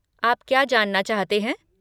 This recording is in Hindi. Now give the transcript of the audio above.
आप क्या जानना चाहते हैं?